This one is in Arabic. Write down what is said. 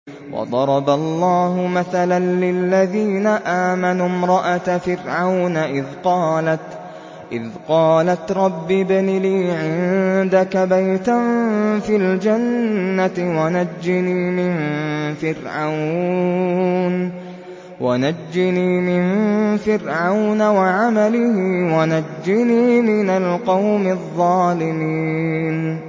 وَضَرَبَ اللَّهُ مَثَلًا لِّلَّذِينَ آمَنُوا امْرَأَتَ فِرْعَوْنَ إِذْ قَالَتْ رَبِّ ابْنِ لِي عِندَكَ بَيْتًا فِي الْجَنَّةِ وَنَجِّنِي مِن فِرْعَوْنَ وَعَمَلِهِ وَنَجِّنِي مِنَ الْقَوْمِ الظَّالِمِينَ